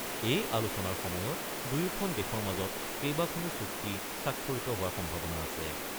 এই আলোচনাৰ সময়ত দুয়োখন দেশৰ মাজত কেইবাখনো চুক্তি স্বাক্ষৰিত হোৱাৰ সম্ভাৱনা আছে।